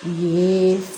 U ye